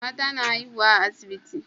Mata na haihuwa a asibiti